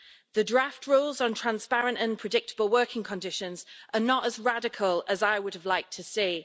The draft rules on transparent and predictable working conditions are not as radical as I would have liked to see.